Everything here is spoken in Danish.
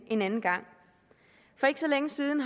en anden gang for ikke så længe siden